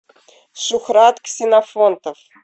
шухрат ксенофонтов